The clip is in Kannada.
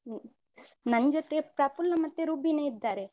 ಹ್ಮ ನಂಜೊತೆ ಪ್ರಫುಲ್ಲ ಮತ್ತೆ ರುಬೀನ ಇದ್ದಾರೆ.